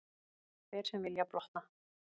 Þeir sem vilja blotna.